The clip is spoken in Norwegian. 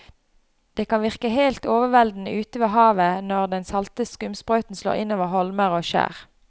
Det kan virke helt overveldende ute ved havet når den salte skumsprøyten slår innover holmer og skjær.